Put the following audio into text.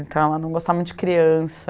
Então, ela não gostava muito de criança.